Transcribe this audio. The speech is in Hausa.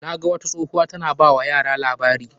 Na ga wata tsohuwa ta na ba wa yara labari.